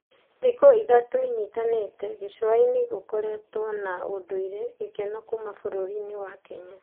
Thuko ithatu inyitanìte, gĩcuainĩ ĩkoretwe na ũndũire gĩkeno kuuma bururĩni Kenya.